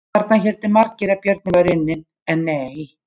Þarna héldu margir að björninn væri unnin, en nei!